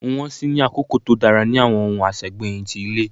Nwọn si ní akoko to dara ni awọn ohun asegbeyin ti ile.